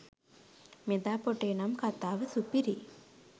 මෙදා පොටේ නම් කතාව සුපිරියි